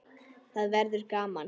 Þá verður gaman.